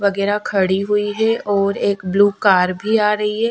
वगेरा खड़ी हुई है और एक ब्लू कार भी आ रही है --